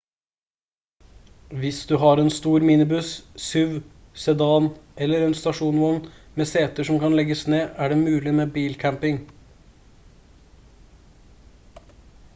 hvis du har en stor minibuss suv sedan eller stasjonsvogn med seter som kan legges ned er det mulig med bilcamping